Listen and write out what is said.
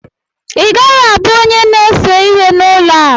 Ị gaghị abụ onye na-ese ihe n'ụlọ a!